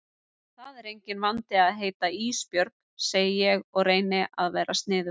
Það er enginn vandi að heita Ísbjörg, segi ég og reyni að vera sniðug.